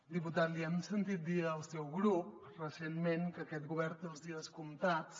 diputat li hem sentit dir al seu grup recentment que aquest govern té els dies comptats